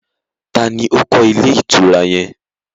Ta ni ó kọ́ ilé ìtura yẹn?